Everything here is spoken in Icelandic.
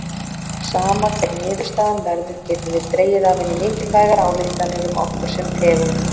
Sama hver niðurstaðan verður getum við dregið af henni mikilvægar ályktanir um okkur sem tegund.